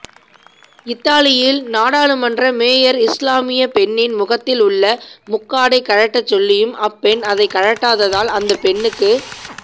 இத்தாலியில் நாடாளுமன்ற மேயர் இஸ்லாமிய பெண்ணின் முகத்தில் உள்ள முக்காடை கழட்ட சொல்லியும் அப்பெண் அதை கழட்டாததால் அந்த பெண்ணுக்கு